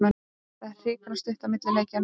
Það er hrikalega stutt á milli leikja núna.